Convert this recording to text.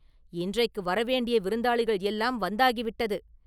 இன்றைக்கு வரவேண்டிய விருந்தாளிகள் எல்லாம் வந்தாகிவிட்டது.